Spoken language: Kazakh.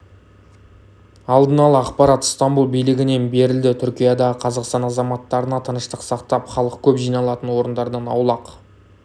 алдын ала ақпарат стамбұл билігінен берілді түркиядағы қазақстан азаматтарына тыныштық сақтап халық көп жиналатын орындардан аулақ